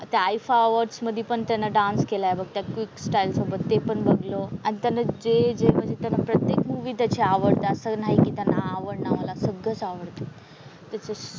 त्या आयफा अवॉर्ड्स मधी पण त्यानं डान्स केलाय बघ त्या क्विक स्टाईल सोबत ते पण बघलो. आणि त्यानं जे जे म्हणजे त्यानं प्रत्येक मूव्ही त्याची आवडते. असं नाही की त्यानं आवडला मला सगळंच आवडतं. त्याचं,